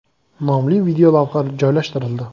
!” nomli videolavha joylashtirildi .